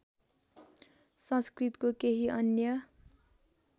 संस्कृतको केही अन्य